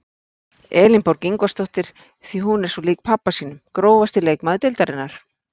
Elínborg Ingvarsdóttir því hún er svo lík pabba sínum Grófasti leikmaður deildarinnar?